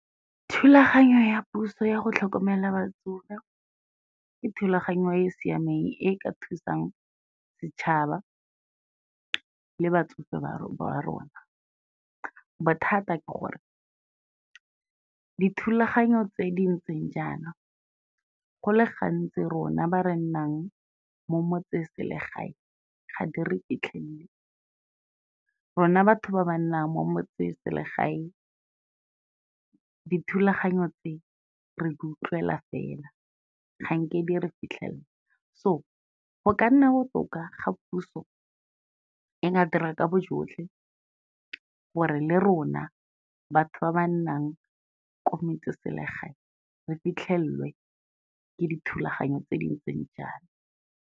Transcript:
Thulaganyo ya puso ya go tlhokomela batsofe, ke thulaganyo e e siameng e ka thusang setšhaba le batsofe ba rona. Bothata ke gore, dithulaganyo tse di ntseng jaana, go le gantsi rona ba re nnang mo motseselegae ga di re fitlhelele, rona batho ba ba nnang mo motseselegae dithulaganyo tse re di utlwela fela ganke di re fitlhelela, so go ka nna botoka ga puso e ka dira ka bojotlhe gore le rona batho ba ba nnang ko metseselegaeng, re fitlhelelwe ka dithulaganyo tse dintseng jalo.